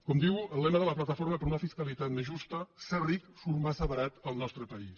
com diu el lema de la plataforma per una fiscalitat més justa ser ric surt massa barat al nostre país